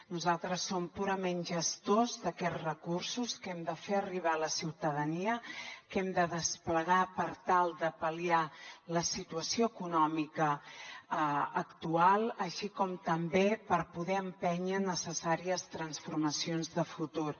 nosaltres som purament gestors d’aquests recursos que hem de fer arribar a la ciutadania que hem de desplegar per tal de pal·liar la situació econòmica actual així com també per poder empènyer necessàries transformacions de futur